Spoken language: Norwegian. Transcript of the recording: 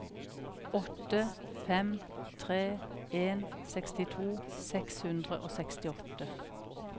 åtte fem tre en sekstito seks hundre og sekstiåtte